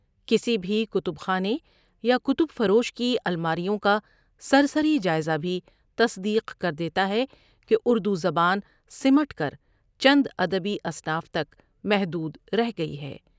کسی بھی کتب خانے یا کتب فروش کی المار یوں کا سرسری جائزہ بھی تصدیق کردیتا ہے کہ اُردو زبان سمٹ کر چند ’اد بی‘ انصاف تک محدود رہ گی ہے۔